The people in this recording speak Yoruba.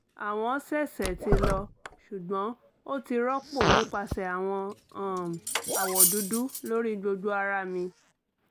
awọn sẹsẹ ti lọ ṣugbọn o ti rọpo nipasẹ awọn um awọ dudu lori gbogbo ara mi